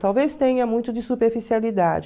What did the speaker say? Talvez tenha muito de superficialidade.